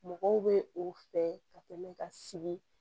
Mɔgɔw bɛ o fɛ ka tɛmɛ ka sigi